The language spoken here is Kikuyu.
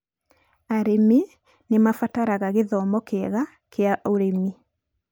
Arĩmi nĩ mabataraga gĩthomo kĩega kĩa ũrĩmi.